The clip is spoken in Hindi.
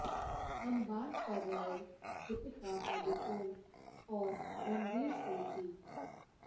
हम बात कर रहे दीपिका पादुकोणे और रणवीर सिंह की